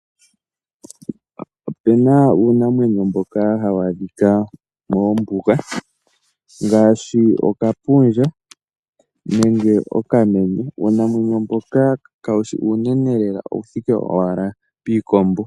Opena uunamweyo mboka hawu adhika mombuga ngaashi okapundja nenge okamenye. Uunamwenyo mboka kawu shi uunene lela owu thike owala piikombo